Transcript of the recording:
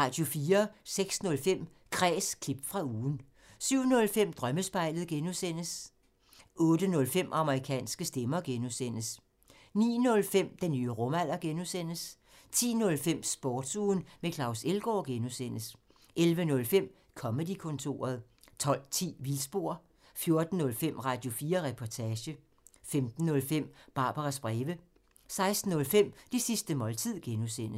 06:05: Kræs – klip fra ugen 07:05: Drømmespejlet (G) 08:05: Amerikanske stemmer (G) 09:05: Den nye rumalder (G) 10:05: Sportsugen med Claus Elgaard (G) 11:05: Comedy-kontoret 12:10: Vildspor 14:05: Radio4 Reportage 15:05: Barbaras breve 16:05: Det sidste måltid (G)